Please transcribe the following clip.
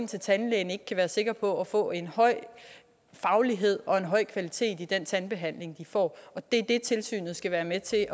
til tandlæge ikke kan være sikre på at få en høj faglighed og en høj kvalitet i den tandbehandling de får og det er det tilsynet skal være med til at